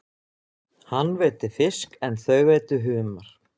Hann veiddi fisk en þau veiddu humar.